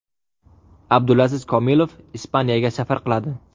Abdulaziz Komilov Ispaniyaga safar qiladi.